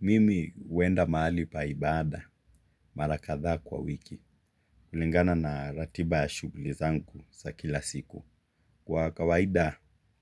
Mimi huenda mahali pa ibaada. Mara kadhaa kwa wiki. Kulingana na ratiba ya shughuli zangu za kila siku kwa kawaida